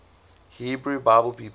hebrew bible people